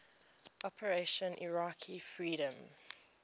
operation iraqi freedom